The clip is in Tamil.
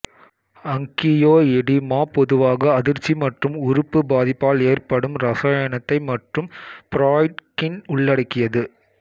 அங்கியோஎடீமா பொதுவாக அதிர்ச்சி மற்றும் உறுப்பு பாதிப்பால் ஏற்படும் ரசாயனத்தை மற்றும் பிராட்ய்கின் உள்ளடக்கியது